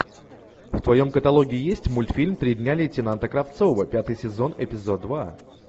в твоем каталоге есть мультфильм три дня лейтенанта кравцова пятый сезон эпизод два